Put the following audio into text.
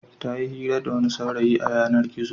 Ta yi hira da wani saurayi a yanar-gizo.